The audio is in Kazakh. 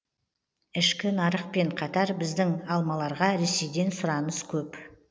ішкі нарықпен қатар біздің алмаларға ресейден сұраныс көп